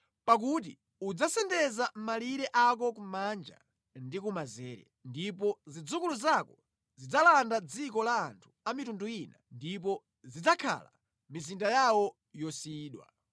Pakuti udzasendeza malire ako kumanja ndi kumanzere; ndipo zidzukulu zako zidzalanda dziko la anthu a mitundu ina ndipo zidzakhala mʼmizinda yawo yosiyidwa.